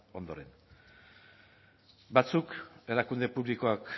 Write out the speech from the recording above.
ondoren batzuek erakunde publikoak